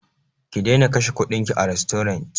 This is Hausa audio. Ki daina kashe kuɗinki a rastorant!